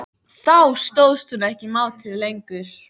Þá stóðst hún ekki mátið lengur.